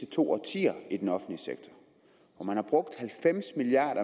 to årtier i den offentlige sektor hvor man har brugt halvfems milliard